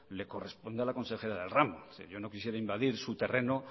le corresponde a la consejera del ramo yo no quisiera invadir su terreno